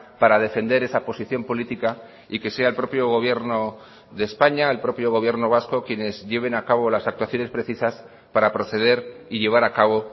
para defender esa posición política y que sea el propio gobierno de españa el propio gobierno vasco quienes lleven a cabo las actuaciones precisas para proceder y llevar a cabo